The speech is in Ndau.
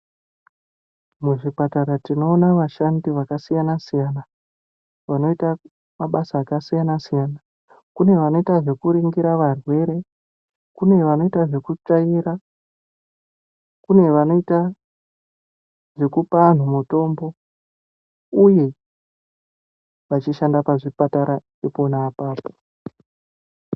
Muzvipatara tinoona vashandi zvakasiyana siyana vanoita mabasa akasiyana siyana kune vanoita zvekuringira varwere, kune vanoita zvekutsvaira, kune vanoita zvekuoa vanhu mutombo uye vachishanda pazvipatara ipona apapo.